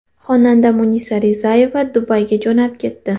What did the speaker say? Xonanda Munisa Rizayeva Dubayga jo‘nab ketdi.